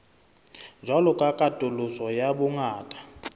jwalo ka katoloso ya bongata